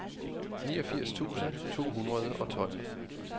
niogfirs tusind to hundrede og tolv